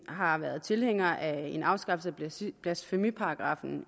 har været tilhænger af en afskaffelse af blasfemiparagraffen